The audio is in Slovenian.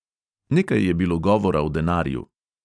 Nekaj je bilo govora o denarju.